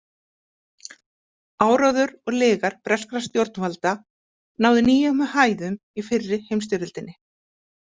Áróður og lygar breskra stjórnvalda náðu nýjum hæðum í fyrri heimsstyrjöldinni.